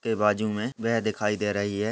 वे बाजू मे वह दिखाई दे रही हैं।